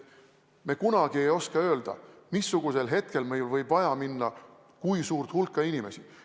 Me kunagi ei oska öelda, missugusel hetkel meil võib vaja minna suurt hulka inimesi.